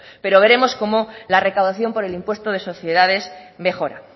pero veremos cómo la recaudación por el impuesto de sociedades mejora